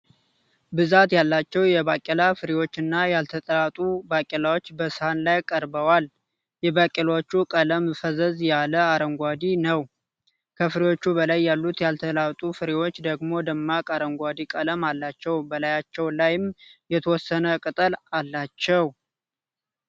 ብዛት ያላቸው የባቄላ ፍሬዎች እና ያልተላጡ ባቄላዎች በሳህን ላይ ቀርበዋል። የባቄላዎቹ ቀለም ፈዘዝ ያለ አረንጓዴ ነው። ከፍሬዎቹ በላይ ያሉት ያልተላጡ ፍሬዎች ደግሞ ደማቅ አረንጓዴ ቀለም አላቸው በላያቸው ላይም የተወሰነ ቅጠል አላቸው።